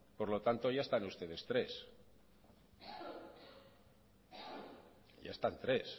por lo tanto ya están ustedes tres ya están tres